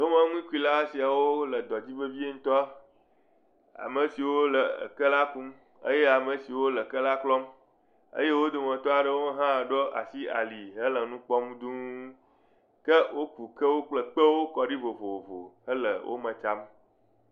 Tomenukula siawo le dɔ dzi vevie ŋutɔ. Ame siwo le eke la kum, eye ame siwo le eke la klɔm. eye wo dometɔ aɖewo hã ɖo asi ali hele nu kpɔm dũu. Ke woku kewo kple kpewo kɔ ɖi vovovo hele wome tsam.